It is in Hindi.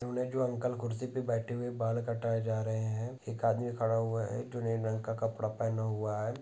जो अंकल खुरसी मे बैठे हुये है बाल कटाए जा रहे एक आदमी खड़ा हुआ है जो नीले रंग का कपड़ा पेहना हुवा है।